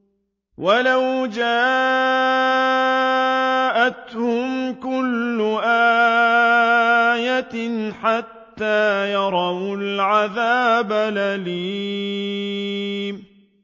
وَلَوْ جَاءَتْهُمْ كُلُّ آيَةٍ حَتَّىٰ يَرَوُا الْعَذَابَ الْأَلِيمَ